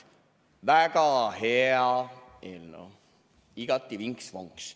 Väga hea eelnõu, igati vinks-vonks.